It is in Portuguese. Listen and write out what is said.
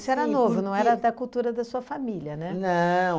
Isso era novo, não era da cultura da sua família, né? Não